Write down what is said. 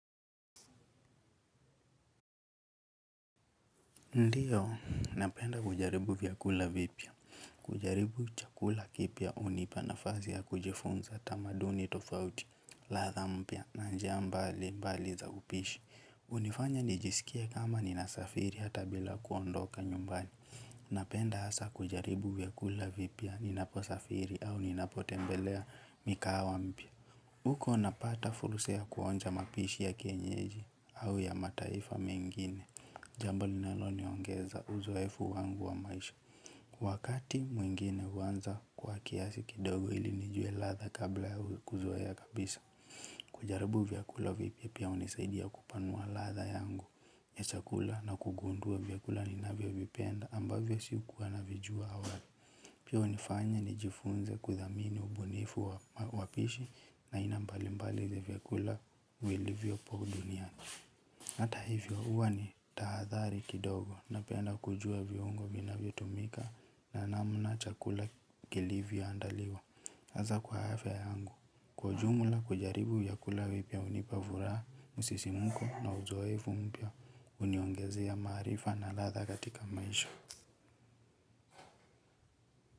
Ndiyo, napenda kujaribu vyakula vipia. Kujaribu chakula kipya, hunipa nafasi ya kujifunza tamaduni tofauti, ladha mpya, na njia mbalimbali za upishi. Hunifanya nijisikie kama ninasafiri hata bila kuondoka nyumbani. Napenda hasa kujaribu vyakula vipya, ninapo safiri au ninapo tembelea mikawa mpya. Huko napata fursa ya kuonja mapishi ya kienyeji au ya mataifa mengine. Jambo linalo niongeza uzoefu wangu wa maisha wakati mwingine huanza kwa kiasi kidogo ili nijue ladha kabla ya kuzoea kabisa. Kujarabu vyakula vipya pia hunisaidia kupanua ladha yangu chakula na kugundua vyakula ninavyo vipenda ambavyo si kuwa navijua awali. Pia hunifanya nijifunze kudhamini ubunifu wa wapishi na aina mbali mbali vya vyakula vilivyopo duniani. Hata hivyo, huwa ni tahadhari kidogo napenda kujua viungo vinavyo tumika na namna chakula kilivyo andaliwa. Hasa kwa afya yangu, kwa ujumla kujaribu vyakula vipya hunipa furaha, msisimko na uzoefu mpya, huniongezea maarifa na ladha katika maisha.